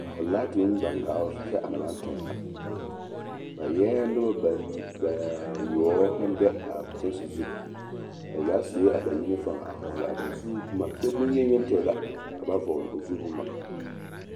ka ho laatiŋ gbaŋ gaa ɔf kyɛ ana baŋ toŋ la, ba eɛ noba bayoɔ naŋ be a kyɛnse zu, ba zaa sue a ba yinifom a vɔɔle a ba zu boma kyɛ boŋyeni yoŋ tɛɛ la a ba vɔɔle a o zu boma.